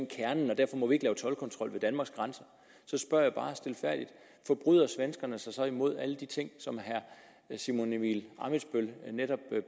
kernen og derfor må vi ikke lave toldkontrol ved danmarks grænser spørger jeg bare stilfærdigt forbryder svenskerne sig så imod alle de ting som herre simon emil ammitzbøll netop